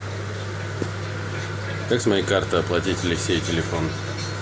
как с моей карты оплатить алексею телефон